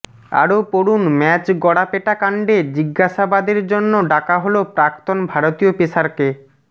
আরও পড়ুন ম্যাচ গড়াপেটা কাণ্ডে জিজ্ঞাসাবাদের জন্য ডাকা হল প্রাক্তন ভারতীয় পেসারকে